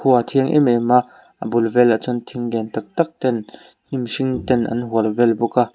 khua a thiang em em a a bul vel ah chuan thing lian tak tak ten hnim hring ten an hual vel bawk a.